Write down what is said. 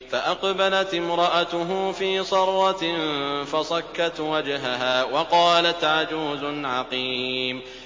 فَأَقْبَلَتِ امْرَأَتُهُ فِي صَرَّةٍ فَصَكَّتْ وَجْهَهَا وَقَالَتْ عَجُوزٌ عَقِيمٌ